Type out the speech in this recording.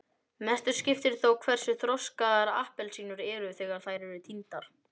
Mestu skiptir þó hversu þroskaðar appelsínurnar eru þegar þær eru tíndar.